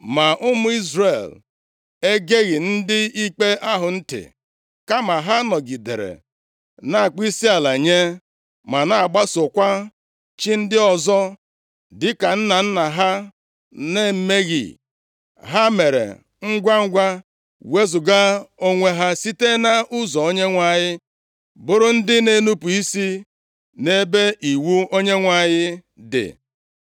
Ma ụmụ Izrel egeghị ndị ikpe ahụ ntị, kama ha nọgidere na-akpọ isiala nye ma na-agbasokwa chi ndị ọzọ. Dịka nna nna ha na-emeghị, ha mere ngwangwa wezuga onwe ha site nʼụzọ Onyenwe anyị, bụrụ ndị na-enupu isi nʼebe iwu Onyenwe anyị dị.